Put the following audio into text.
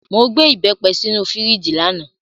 Mo gbé ìbẹ́pẹ sínú fíríjì lánàá.